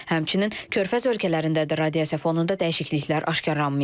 Həmçinin körfəz ölkələrində də radiasiya fonunda dəyişikliklər aşkarlanmayıb.